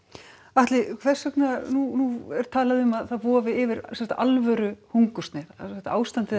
Atli hvers vegna nú er talað um að það vofi yfir sem sagt alvöru hungursneyð ástandið er